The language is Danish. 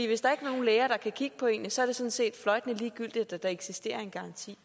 hvis der ikke er nogen læger der kan kigge på en er det sådan set fløjtende ligegyldigt at der eksisterer en garanti